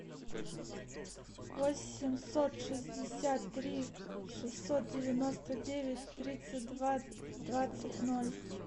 восемьсот шестьдесят три шестьсот девяносто девять тридцать два двадцать ноль